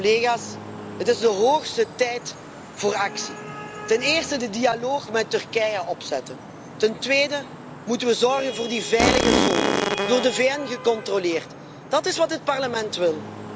Collega's, het is de hoogste tijd voor actie ten eerste moeten we een dialoog met Turkije opzetten, ten tweede moeten we zorgen voor die veilige zone, door de VN gecontroleerd. Dat is wat het Parlement